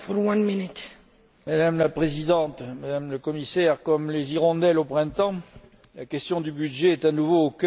Madame la Présidente, Madame la Commissaire, comme les hirondelles au printemps, la question du budget est à nouveau au cœur de notre actualité.